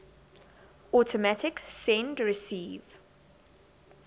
automatic send receive